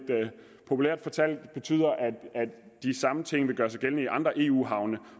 populært fortalt betyder at de samme ting vil gøre sig gældende i andre eu havne